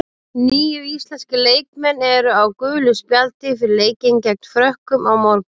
Níu íslenskir leikmenn eru á gulu spjaldi fyrir leikinn gegn Frökkum á morgun.